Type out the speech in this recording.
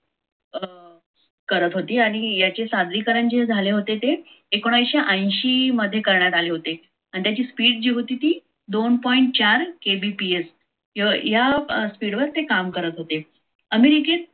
करत होती आणि याचे सादरीकरण झाले होते ते एकोणविससे अंशी मध्ये करण्यात आले आणि त्याची speed जी होती ती दो point चार kbps या speed वर ते काम करत होते. अमेरिकेत